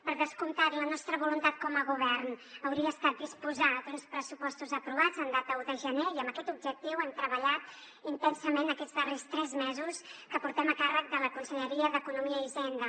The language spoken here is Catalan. per descomptat la nostra voluntat com a govern hauria estat disposar d’uns pressupostos aprovats en data un de gener i amb aquest objectiu hem treballat intensament aquests darrers tres mesos que portem a càrrec de la conselleria d’economia i hisenda